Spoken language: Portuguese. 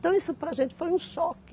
Então, isso para a gente foi um choque.